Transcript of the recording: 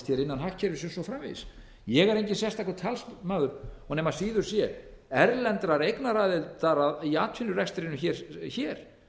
hér innan hagkerfisins og svo framvegis ég er enginn sérstakur talsmaður og nema síður sé erlendrar eignaraðilar í atvinnurekstrinum hér